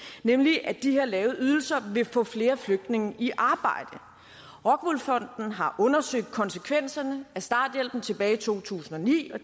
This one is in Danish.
nemlig at de her lave ydelser vil få flere flygtninge i arbejde rockwool fonden har undersøgt konsekvenserne af starthjælpen tilbage i to tusind og ni og